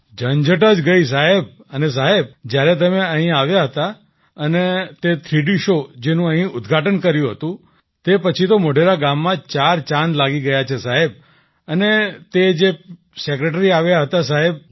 ઝંઝટ જ ગઈ સાહેબ અને સાહેબ જ્યારે તમે અહીં આવ્યા હતા અને તે થ્રીડી શૉ જેનું અહીં ઉદ્ઘાટન કર્યું હતું તે પછી તો મોઢેરા ગામમાં ચાર ચાંદ લાગી ગયા છે સાહેબ અને તે જે સેક્રેટરી આવ્યા હતા સાહેબ